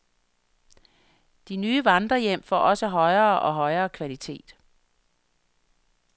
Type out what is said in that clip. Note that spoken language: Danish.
De nye vandrerhjem får også højere og højere kvalitet.